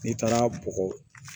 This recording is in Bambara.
N'i taara bɔgɔ